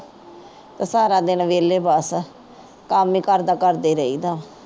ਸਾਰਾ ਦਿਨ ਵਿਹਲੇ ਬਸ। ਕੰਮ ਹੀ ਘਰ ਦਾ ਕਰਦੇ ਰਹੀਦਾ।